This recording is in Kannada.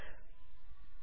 ನೆಕ್ಸ್ಟ್ ಅನ್ನು ಕ್ಲಿಕ್ ಮಾಡಿ